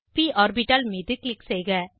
ப் ஆர்பிட்டால் மீது க்ளிக் செய்க